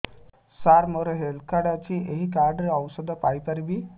ସାର ମୋର health card ଅଛି ଏହି କାର୍ଡ ରେ ଔଷଧ ପାଇପାରିବି